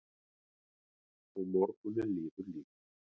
Og morgunninn líður líka.